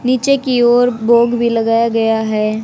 नीचे की ओर भोग भी लगाया गया है।